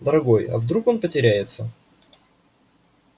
дорогой а вдруг он потеряется